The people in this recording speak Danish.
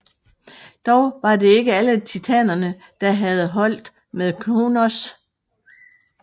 Dog var det ikke alle Titanerne der havde holdt med Kronos